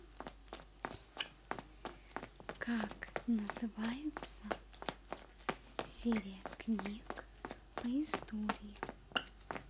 как называется серия книг по истории